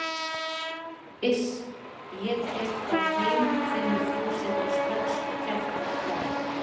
Iss, ef ég tek þá heim finnur Fúsi þá strax og kjaftar frá.